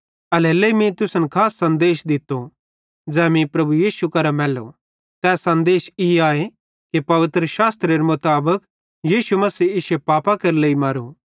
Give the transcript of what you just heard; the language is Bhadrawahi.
एल्हेरेलेइ मीं तुसन खास सन्देश दित्तो ज़ै मीं प्रभु यीशु मसीह करां मैल्लो तै सन्देश ई आए कि पवित्रशास्त्ररेरे मुताबिक यीशु मसीह इश्शे पापां केरे लेइ मरो